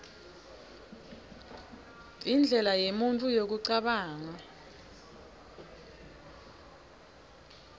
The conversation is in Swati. indlela yemuntfu yekucabanga